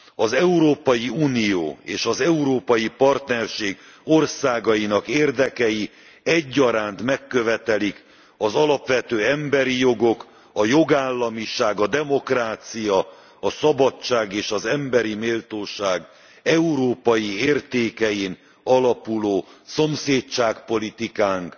Az Európai Unió és az európai partnerség országainak érdekei egyaránt megkövetelik az alapvető emberi jogok, a jogállamiság, a demokrácia, a szabadság és az emberi méltóság európai értékein alapuló szomszédsági politikánk